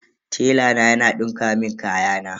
Tela na yana dinka mun kayana.